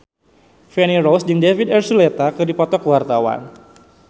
Feni Rose jeung David Archuletta keur dipoto ku wartawan